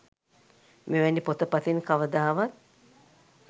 මෙවැනි පොත පතින් කවදාවත්